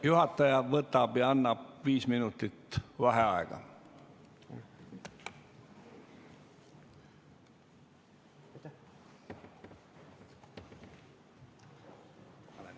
Juhataja võtab 5 minutit vaheaega.